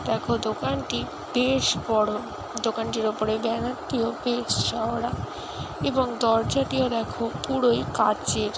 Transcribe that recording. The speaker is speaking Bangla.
দেখো দোকানটি বেশ বড় দোকানটির ওপরে বেনার বেশ চওড়া এবং দরজাটিও দেখো পুরোই কাচের।